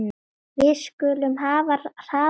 Við skulum hafa hraðann á.